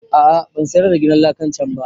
A'a ban sayar da gidan lakan can ba